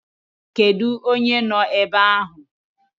Kedu onye no ebe ahụ?